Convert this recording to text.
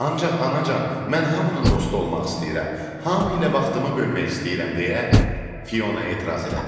Ancaq anacan, mən hamının dostu olmaq istəyirəm, hamı ilə vaxtımı bölmək istəyirəm deyə Fiona etiraz elədi.